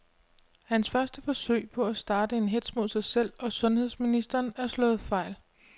Hans første forsøg på at starte en hetz mod sig selv og sundheds ministeren er slået fejl.